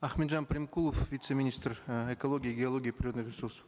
ахметжан примкулов вице министр э экологии геологии и природных ресурсов